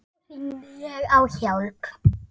Þá hringdi ég á hjálp.